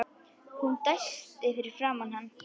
Hún dæsti fyrir framan hann.